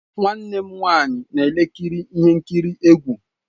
Nwanne m nwanyị na-ekiri ihe nkiri egwu.